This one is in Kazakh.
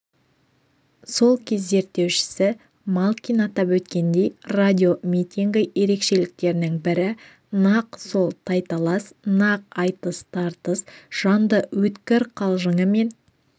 сол кез зерттеушісі малкин атап өткендей радиомитингі ерекшеліктерінің бірі нақ сол тайталас нақ айтыс-тартыс жанды өткір қалжыңы мен